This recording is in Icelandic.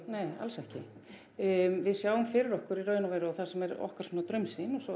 nei alls ekki við sjáum fyrir okkur í raun og veru og það sem er okkar svona draumsýn svo